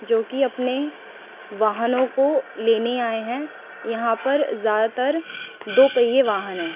जो कि अपने वाहनों को लेने आए हैं यहां पर ज्यादातर दो पहिए वाहन हैं।